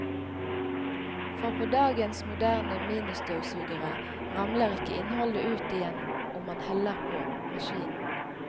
For på dagens moderne ministøvsugere ramler ikke innholdet ut igjen om man heller på maskinen.